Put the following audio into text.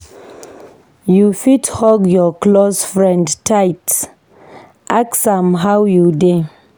You fit hug your close friend tight, ask am 'how you dey'?